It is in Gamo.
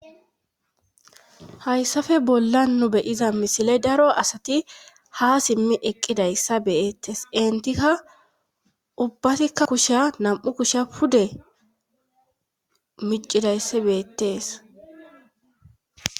hayssafe bolla nu beyiza misile daro asati ha simmi eqqidayssa beettes intikka ubbasikka kusha nam7u kusha pude micidayssa beettes